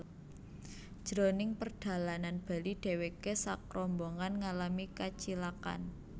Jroning perdalanan bali dheweke sakrombongan ngalami kacilakan